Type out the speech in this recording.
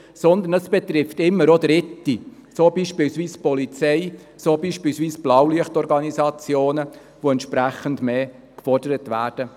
Vielmehr betrifft es immer auch Dritte, so beispielsweise die Polizei, die Blaulichtorganisationen, die an diesen Tagen entsprechend mehr gefordert werden.